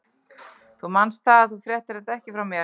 Þú manst það, að þú fréttir þetta ekki frá mér.